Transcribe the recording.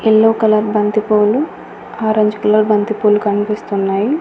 Yellow colour బంతిపూలు orange colour బంతిపూలు కనిపిస్తున్నాయి.